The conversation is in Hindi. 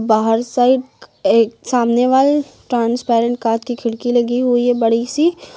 बाहर साइड एक सामने वाल ट्रांसपेरेंट कांच की खिड़की लगी हुई है बड़ी सी।